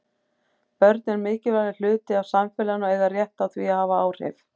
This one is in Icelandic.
Börn eru mikilvægur hluti af samfélaginu og eiga rétt á því að hafa áhrif.